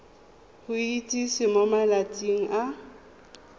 go itsise mo malatsing a